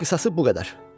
Qisası bu qədər.